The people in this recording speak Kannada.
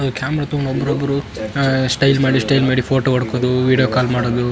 ಕ್ಯಾಮೆರ ತುಂಬ ಬುರುಬುರು ಅ ಸ್ಟೈಲ್ ಮಾಡಿ ಸ್ಟೈಲ್ ಮಾಡಿ ಫೊಟೊ ಒಟ್ಕೊದು ವಿಡಿಯೋ ಕಾಲ್ ಮಾಡುದು.